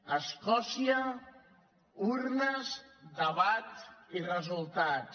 a escòcia urnes debat i resultats